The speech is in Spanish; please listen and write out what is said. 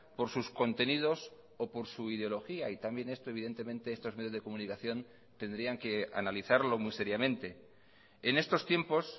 por sus contenidos o por su ideología y también esto evidentemente estos medios de comunicación tendrían que analizarlo muy seriamente en estos tiempos